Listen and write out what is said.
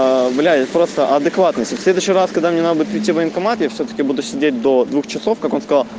а блять просто адекватности следующий раз когда мне надо идти военкомате все таки буду сидеть до двух часов как он сказал